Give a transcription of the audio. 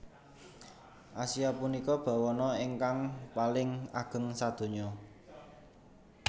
Asia punika bawana ingkang paling ageng sadonya